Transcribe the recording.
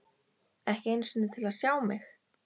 Ekki einu sinni til að sjá mig.